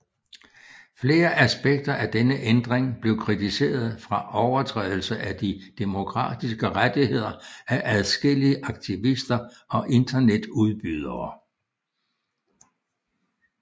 Flere aspekter af denne ændring blev kritiseret fra overtrædelse af de demokratiske rettigheder af adskillige aktivister og internetudbydere